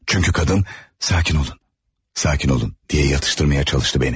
Çünki qadın 'Sakin olun, sakin olun' diye yatıştırmaya çalışdı beni.